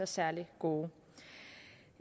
særlig gode